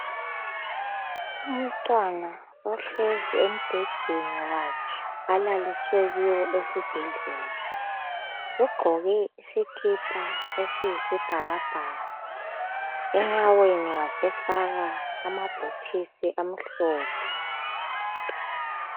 Umntwana ohlezi embhedeni wakhe alaliswe kiwo esibhedlela ugqoke isikipha esiyisibhakabhaka enyaweni wasefaka amabhutisi amhlophe